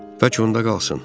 Bəlkə onda qalsın.